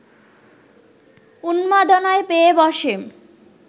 উন্মাদনায় পেয়ে বসে